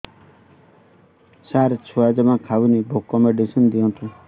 ସାର ଛୁଆ ଜମା ଖାଉନି ଭୋକ ମେଡିସିନ ଦିଅନ୍ତୁ